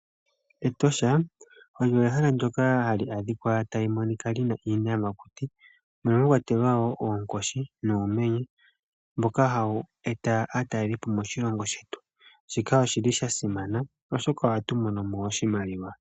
Etosha olyo ehala ndoka hali adhika talimonika lina iiyaha mono mwakwatelwa woo oonkoshi nuumenye mboka hawu eta aatalelipo moshilongo shetu, shika oshili shasimana oshoka ohatu mono mo oshimaliwa.